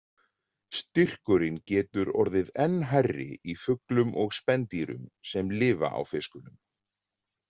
Styrkurinn getur orðið enn hærri í fuglum og spendýrum sem lifa á fiskunum.